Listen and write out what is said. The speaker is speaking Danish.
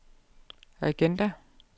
agenda